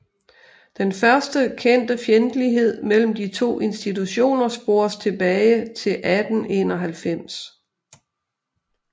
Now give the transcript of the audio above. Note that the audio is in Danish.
Den første kendte fjendtlighed mellem de to institutioner spores tilbage til 1891